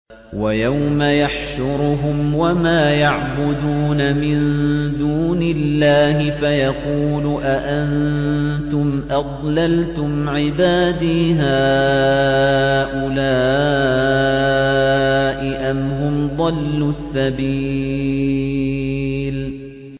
وَيَوْمَ يَحْشُرُهُمْ وَمَا يَعْبُدُونَ مِن دُونِ اللَّهِ فَيَقُولُ أَأَنتُمْ أَضْلَلْتُمْ عِبَادِي هَٰؤُلَاءِ أَمْ هُمْ ضَلُّوا السَّبِيلَ